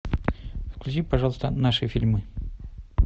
включи пожалуйста наши фильмы